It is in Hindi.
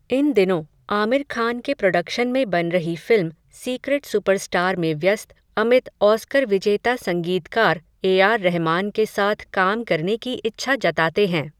इन दिनों, आमिर खान के प्रोडक्शन में बन रही फ़िल्म, सीक्रेट सुपरस्टार में व्यस्त, अमित, ऑस्कर विजेता संगीतकार ए आर रहमान के साथ काम करने की इच्छा जताते हैं.